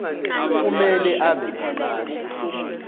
kumele abe ngabantu